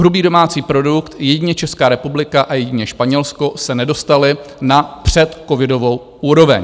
Hrubý domácí produkt - jedině Česká republika a jedině Španělsko se nedostaly na předcovidovou úroveň.